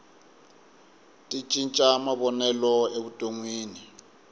ti cinca mavonelo evutonwini